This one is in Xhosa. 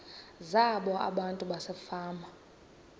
zabo abantu basefama